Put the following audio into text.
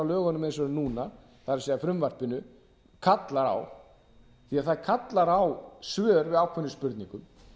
lögunum eins og þau eru núna það er frumvarpinu kallar á því að það kallar á svör við ákveðnum spurningum